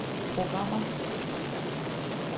programmer